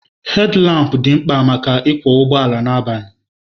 Hedilampụ dị mkpa maka ịkwọ ụgbọala abalị